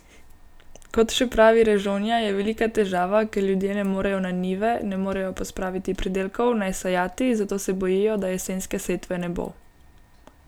Kot še pravi Režonja, je velika težava, ker ljudje ne morejo na njive, ne morejo pospraviti pridelkov, ne sejati, zato se bojijo, da jesenske setve ne bo.